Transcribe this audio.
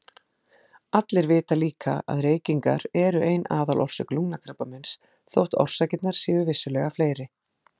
Allir vita líka að reykingar eru ein aðalorsök lungnakrabbameins þótt orsakirnar séu vissulega fleiri.